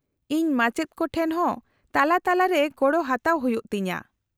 -ᱤᱧ ᱢᱟᱪᱮᱫ ᱠᱚ ᱴᱷᱮᱱ ᱦᱚᱸ ᱛᱟᱞᱟᱼᱛᱟᱞᱟᱨᱮ ᱜᱚᱲᱚ ᱦᱟᱛᱟᱣ ᱦᱩᱭᱩᱜ ᱛᱤᱧᱟᱹ ᱾